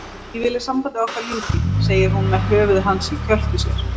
Ég vil að sambandi okkar ljúki, segir hún með höfuð hans í kjöltu sér.